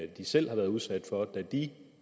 de selv har været udsat for da de